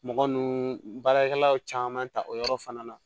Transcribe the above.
Mɔgɔ ninnu baarakɛlaw caman ta o yɔrɔ fana na